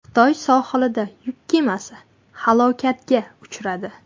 Xitoy sohilida yuk kemasi halokatga uchradi.